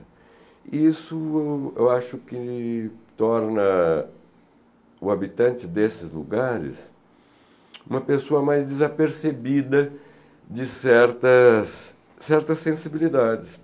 E isso eu acho que torna o habitante desses lugares uma pessoa mais desapercebida de certas certas sensibilidades.